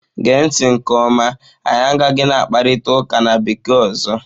Gee ntị nke ọma! anyị agaghị na-akparịta ụka na bekee ọzọ.